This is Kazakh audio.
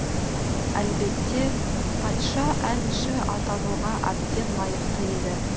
әлбетте патша әнші атануға әбден лайықты еді